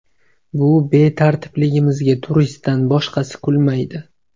Bu betartibliklarimizga turistdan boshqasi kulmaydi.